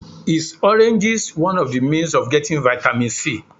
Is oranges one of the means of getting vitamin C?